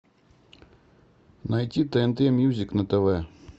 найти тнт мьюзик на тв